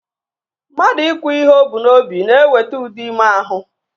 Mmadụ ikwu ihe o bu n'obi na-eweta udo ime ahụ